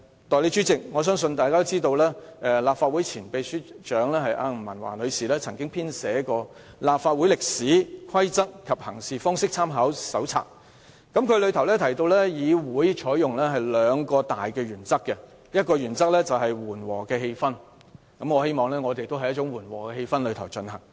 代理主席，我相信大家都知道，立法會前秘書長吳文華女士編寫了《香港特別行政區立法會歷史、規則及行事方式參考手冊》，當中提到議會採用兩項大原則：第一，緩和的氣氛，我也希望我們在緩和的氣氛下進行辯論。